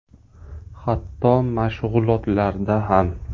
Hatto mashg‘ulotlarda ham.